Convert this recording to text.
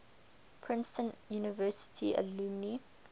princeton university alumni